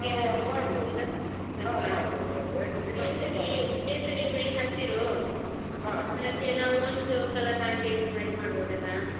ಹಾ ಮಾಡ್ಬೋದು ಕೇಸರಿ ಬಿಳಿ ಹಸಿರು ನಾವು ಒಂದು color ಹಾಗೆ ಇದು ಮಾಡಿ ಮಾಡ್ಬೋದಲ್ಲಾ.